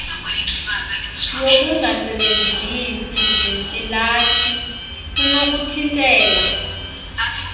yokungasebenzisi zintsilathi kunokuthintela